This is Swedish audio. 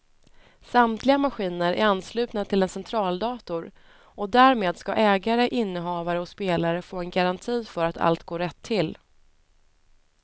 Samtliga maskiner är anslutna till en centraldator och därmed ska ägare, innehavare och spelare få en garanti för att allt går rätt till.